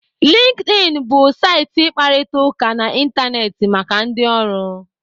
LinkedIn bụ saịtị ịkparịta ụka n'Ịntanetị maka ndị ọrụ.